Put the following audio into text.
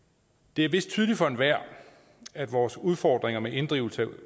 det er vist tydeligt for enhver at vores udfordringer med inddrivelse af